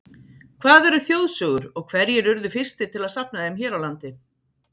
Hvað eru þjóðsögur og hverjir urðu fyrstir til að safna þeim hér á landi?